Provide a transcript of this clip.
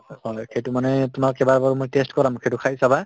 সেইটো মানে তোমাক এইবাৰ বাৰু মই test কৰাম সেইটো খাই চাবা